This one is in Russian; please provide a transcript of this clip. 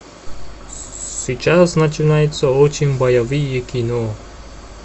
сейчас начинается очень боевые кино